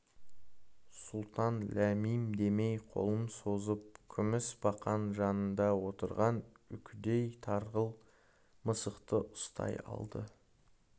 сұлтан ләм-мим демей қолын созып күміс бақан жанында отырған үкідей тарғыл мысықты ұстай алды